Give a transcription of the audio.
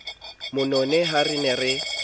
monene ha re ne re